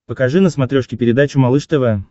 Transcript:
покажи на смотрешке передачу малыш тв